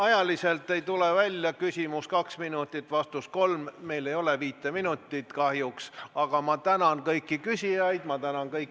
Ajaliselt ei tule jätkamine välja: küsimus on kaks minutit, vastus kolm, meil ei ole viite minutit kahjuks.